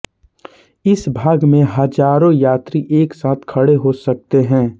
इस भाग में हजारों यात्री एक साथ खड़े हो सकते हैं